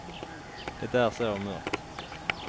Det är så mörkt.